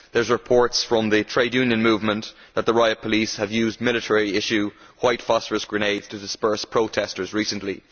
There are reports from the trade union movement that the riot police have used military issue white phosphorus grenades to disperse protesters recently.